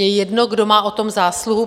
Je jedno, kdo má na tom zásluhu.